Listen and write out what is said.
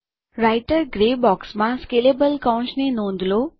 writer grey બોક્સમાં scalable કૌંસની નોંધ લો